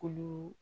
Kolo